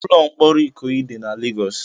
Ụlọ mkpọrọ Ikoyi dị na Legọs.